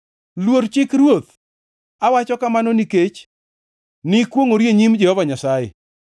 Luor chik ruoth, awacho kamano, nikech ni kwongʼori e nyim Jehova Nyasaye.